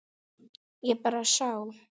Ég bara sá.